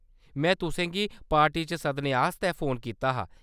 में तुसें गी पार्टी च सद्दने आस्तै फोन कीता हा।